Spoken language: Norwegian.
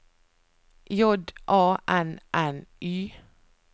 J A N N Y